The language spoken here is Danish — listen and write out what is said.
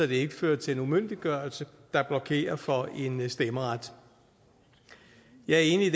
det ikke fører til en umyndiggørelse der blokerer for en stemmeret jeg er enig